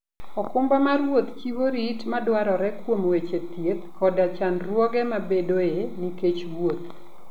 okumba mar wuoth chiwo rit madwarore kuom weche thieth koda chandruoge mabedoe nikech wuoth.